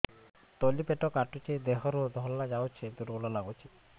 ତଳି ପେଟ କାଟୁଚି ଦେହରୁ ଧଳା ଯାଉଛି ଦୁର୍ବଳ ଲାଗୁଛି